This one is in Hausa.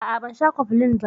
A'a ban sha cofflin ko ba.